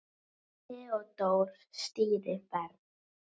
Theódór stýrir ferð.